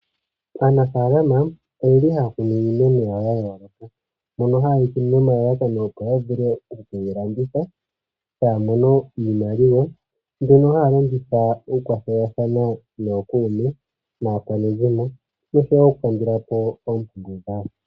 Aanafaalama oyeli haya kunu iimeno yawo yayooloka. Mbyono haye yeyi kunu nomalalakano opo wavule okuyilanditha taya mono iimaliwa mbyono yahalongitha uukwathelathano nookuume naakwanezimo nosho okulandulapo oompumbwe.